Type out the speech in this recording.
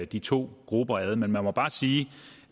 de to grupper ad men man må bare sige